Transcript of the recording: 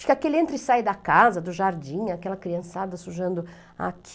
Fica aquele entra e sai da casa, do jardim, aquela criançada sujando aqui.